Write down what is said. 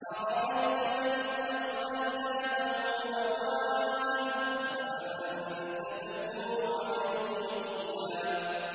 أَرَأَيْتَ مَنِ اتَّخَذَ إِلَٰهَهُ هَوَاهُ أَفَأَنتَ تَكُونُ عَلَيْهِ وَكِيلًا